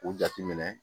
U jate minɛ